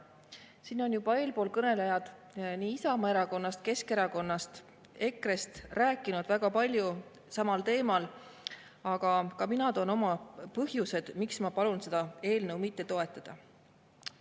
Siin on juba eelkõnelejad Isamaa Erakonnast, Keskerakonnast ja EKRE-st rääkinud väga palju samal teemal, aga ka mina toon oma põhjused, miks ma palun seda eelnõu mitte toetada.